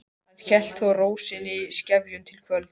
Hann hélt þó reiði sinni í skefjum til kvölds.